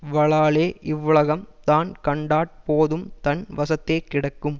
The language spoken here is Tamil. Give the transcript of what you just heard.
வலாலே இவ்வுலகம் தான் கண்டாற் போதும் தன் வசத்தே கிடக்கும்